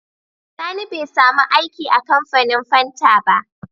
Sani be samu aiki a kamfanin fanta ba